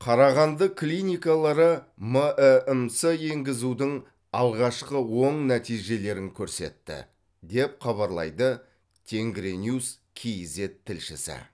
қарағанды клиникалары мәмс енгізудің алғашқы оң нәтижелерін көрсетті деп хабарлайды тенгриньюс кейзэт тілшісі